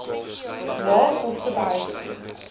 lae koste behuising